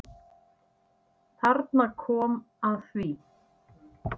Þarna kom að því.